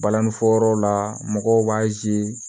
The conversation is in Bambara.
Balani fɔyɔrɔw la mɔgɔw b'a